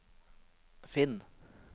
finn